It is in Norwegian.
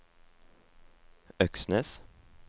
Øksnes